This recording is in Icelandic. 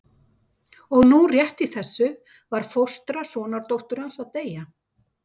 Og nú rétt í þessu var fóstra sonardóttur hans að deyja.